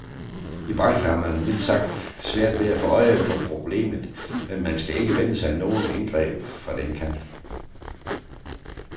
I branchen har man mildt sagt svært ved at få øje på problemet, og man skal ikke vente sig nogen indgreb fra den kant.